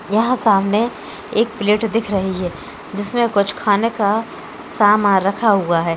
यहाँ सामने एक प्लेट दिख रही है जिसमे कुछ खाने का सामान रखा हुआ है।